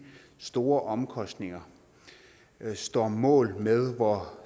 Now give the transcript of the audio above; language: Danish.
store omkostninger står mål med hvor